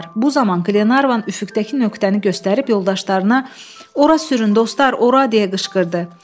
Bu zaman Klenarvan üfüqdəki nöqtəni göstərib yoldaşlarına ora sürün, dostlar, ora deyə qışqırdı.